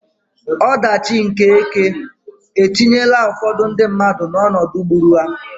Ọdachi nke ekè etinyela ụfọdụ ndị mmadụ n'ọnọdụ gburu ha.